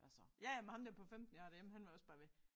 Ja ja men ham der på 15 jeg har derhjemme han var også bare ved